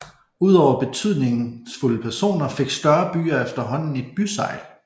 Ud over betydningsfulde personer fik større byer efterhånden et bysegl